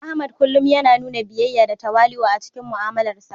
Ahmad kullum yana nuna biyayya da tawali'u a cikin mu'amalarsa.